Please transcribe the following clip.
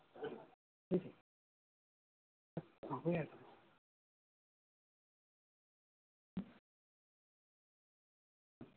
আগ্ৰহ।